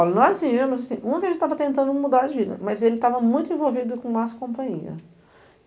Olha, nós viemos assim... estava tentando mudar de vida, mas ele estava muito envolvido com más companhia.